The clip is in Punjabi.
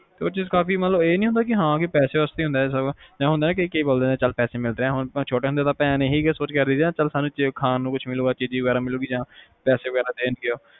ਤਾ ਉਹ ਚੀਜ਼ ਕਾਫੀ ਮਤਲਬ ਇਹ ਨੀ ਹੁੰਦਾ ਕਿ ਸਬ ਪੈਸੇ ਵਾਸਤੇ ਹੁੰਦਾ ਸਬ ਹੈ ਕਿ ਕਈ ਬੋਲਦੇ ਹੈ ਹੁਣ ਪੈਸੇ ਮਿਲਦੇ ਆ, ਛੋਟੇ ਹੁੰਦੇ ਤਾ ਭੈਣ ਇਹੀ ਸੋਚ ਕੇ ਖੁਸ਼ ਹੁੰਦੀ ਆ ਖਾਣ ਨੂੰ ਮਿਲੂ ਚੀਜ਼ੀ ਵਗੈਰਾ ਮਿਲੂ ਪੈਸੇ ਵਗੈਰਾ ਦੇਣਗੇ ਉਹ